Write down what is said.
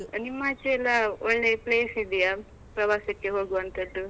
ಆ ನಿಮ್ಮಾಚೆ ಎಲ್ಲಾ ಒಳ್ಳೆ place ಇದ್ಯಾ? ಪ್ರವಾಸಕ್ಕೆ ಹೋಗುವಂತದ್ದು.